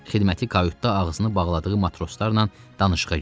Xidməti kautda ağzını bağladığı matroslarla danışığa girdi.